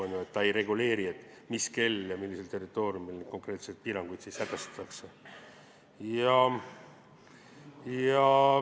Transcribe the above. Eelnõu ei reguleeri, mis kell ja millisel territooriumil konkreetseid piiranguid sätestatakse.